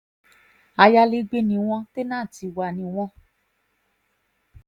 ayalégbé ni wọ́n tẹ́ńtì wa ni wọ́n